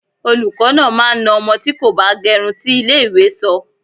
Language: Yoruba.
Olùkọ́ náà máa na ọmọ tí kò bá gẹrun tí ilé ìwé sọ.